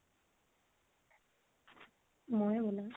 মইয়ে বনাও।